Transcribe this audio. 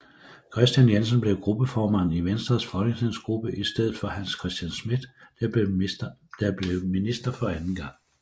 Kristian Jensen blev gruppeformand i Venstres folketingsgruppe i stedet for Hans Christian Schmidt der blev minister for anden gang